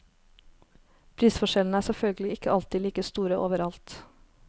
Prisforskjellene er selvfølgelig ikke alltid like store overalt.